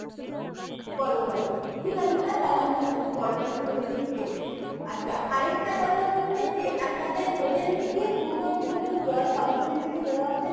বড় গাড়ি ঠিক আছে sir তাহলে আমি আপনাকে বড় গাড়িই করে দিচ্ছি আচ্ছা আর একটা কথা হচ্ছে যে আপনাদের hotel থেকে দুটো bottle জল complimentary দেওয়া হবে